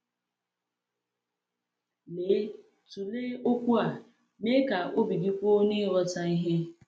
Lee, tụlee okwu a: “Mee ka obi gị kwụ n’ịghọta ihe.”